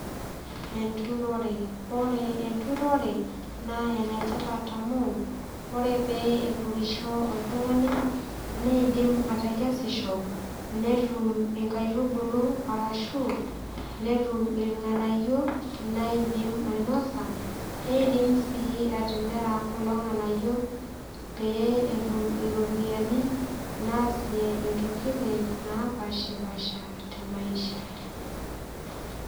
Enturore ore enturore naa enetipat amu ore pee eturisho oltung'ani neidim atekesisho netum inkaitubulu arashu netum irng'anayio laidim ainosa neidim sii atimira kulo ng'anayio pee etum iropiyiani naasie intokiting napashipasha te maisha.